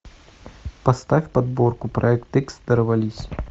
поставь подборку проект икс дорвались